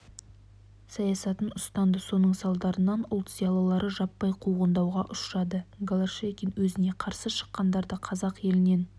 саясатын ұстанды соның салдарынан ұлт зиялылары жаппай қуғындауға ұшырады голощекин өзіне қарсы шыққандарды қазақ елінен